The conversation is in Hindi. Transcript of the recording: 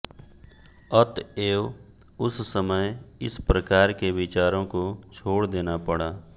अतएव उस समय इस प्रकार के विचारों को छोड़ देना पड़ा